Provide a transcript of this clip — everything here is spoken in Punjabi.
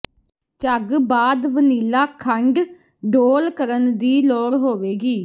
ਝੱਗ ਬਾਅਦ ਵਨੀਲਾ ਖੰਡ ਡੋਲ੍ਹ ਕਰਨ ਦੀ ਲੋੜ ਹੋਵੇਗੀ